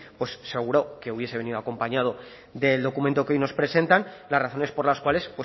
pues seguro que hubiese venido acompañado del documento que hoy nos presentan las razones por las cuales